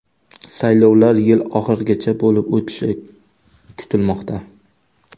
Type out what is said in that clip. Saylovlar yil oxirigacha bo‘lib o‘tishi kutilmoqda.